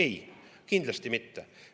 Ei, kindlasti mitte.